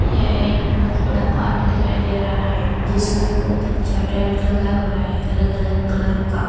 यह एक बहुत बड़ा पार्क दिखाई दे रहा है जिसमें बहोत अच्छा टेंट लगा हुआ है अलग अलग कलर का।